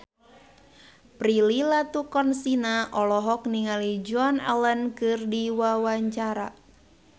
Prilly Latuconsina olohok ningali Joan Allen keur diwawancara